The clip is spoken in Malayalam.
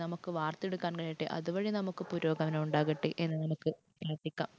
നമുക്ക് വാർത്തെടുക്കാൻ കഴിയട്ടെ. അതുവഴി നമുക്ക് പുരോഗമനം ഉണ്ടാകട്ടെ. എന്ന് നമുക്ക് പ്രാർത്ഥിക്കാം.